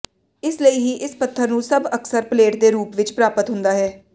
ਇਸ ਲਈ ਹੀ ਇਸ ਪੱਥਰ ਨੂੰ ਸਭ ਅਕਸਰ ਪਲੇਟ ਦੇ ਰੂਪ ਵਿਚ ਪ੍ਰਾਪਤ ਹੁੰਦਾ ਹੈ